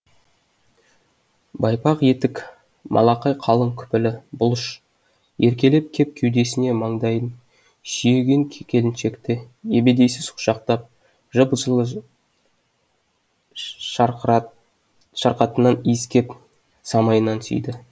байпақ етік малақай қалың күпілі бұлыш еркелеп кеп кеудесіне маңдайын сүйеген келіншекті ебедейсіз құшақтап жьп жылы шарқатынан иіскеп самайынан сүйді